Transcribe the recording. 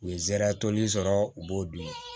U ye zɛrɛn toli sɔrɔ u b'o dun